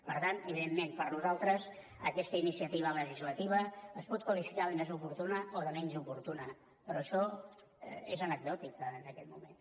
per tant evidentment per nosaltres aquesta iniciativa legislativa es pot qualificar de més oportuna o de menys oportuna però això és anecdòtic en aquest moment